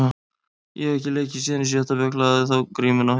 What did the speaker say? Ég hef ekki leikið síðan í sjötta bekk, lagði þá grímuna á hilluna.